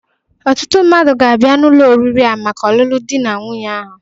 Ọtụtụ mmadụ ga-abia n'ụlọ oriri a maka ọlụlụ dị na nwunye ahụ.